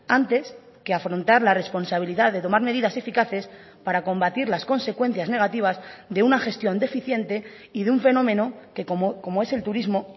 antes que afrontar la responsabilidad de tomar medidas eficaces para combatir las consecuencias negativas de una gestión deficiente y de un fenómeno que como es el turismo